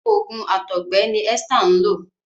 oògùn àtọgbẹ ní Esther nlọ.